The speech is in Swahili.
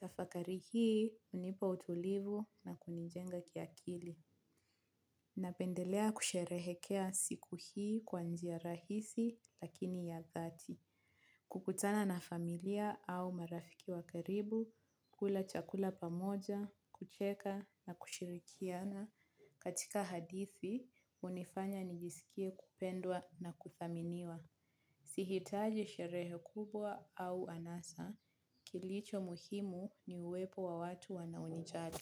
Tafakari hii hunipa utulivu na kunijenga kiakili. Napendelea kusherehekea siku hii kwa njia rahisi lakini ya dhati. Kukutana na familia au marafiki wa karibu, kula chakula pamoja, kucheka na kushirikiana. Katika hadithi, unifanya nijisikie kupendwa na kuthaminiwa. Sihitaji sherehe kubwa au anasa kilicho muhimu ni uwepo wa watu wanaonijali.